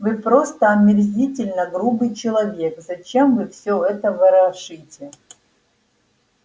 вы просто омерзительно грубый человек зачем вы всё это ворошите